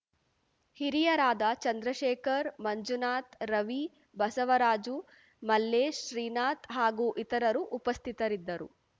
ಹಿರಿಯರಾದ ಚಂದ್ರಶೇಖರ್‌ ಮಂಜುನಾಥ್‌ ರವಿ ಬಸವರಾಜು ಮಲ್ಲೇಶ್‌ ಶ್ರೀನಾಥ್‌ ಹಾಗೂ ಇತರರು ಉಪಸ್ಥಿತರಿದ್ದರು